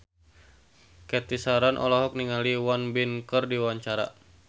Cathy Sharon olohok ningali Won Bin keur diwawancara